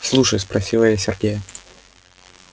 слушай спросила я сергея